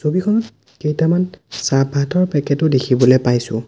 ছবিখনত কেইটামান চাহপাতৰ পেকেট ও দেখিবলে পাইছোঁ।